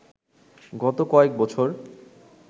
গত কয়েক বছর